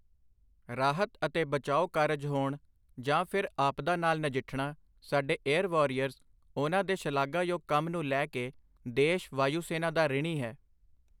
ਰਾਹਤ ਅਤੇ ਬਚਾਓ ਕਾਰਜ ਹੋਣ ਜਾਂ ਫਿਰ ਆਪਦਾ ਨਾਲ ਨਜਿੱਠਣਾ, ਸਾਡੇ ਏਯਰ ਵੱਰਿਓਰਸ , ਉਨ੍ਹਾਂ ਦੇ ਸ਼ਲਾਘਾ ਯੋਗ ਕੰਮ ਨੂੰ ਲੈ ਕੇ ਦੇਸ਼, ਵਾਯੂ ਸੈਨਾ ਦਾ ਰਿਣੀ ਹੈ।